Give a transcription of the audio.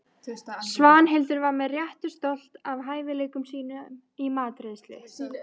Svanhildur var með réttu stolt af hæfileikum sínum í matreiðslu.